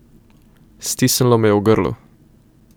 Stisnilo me je v grlu.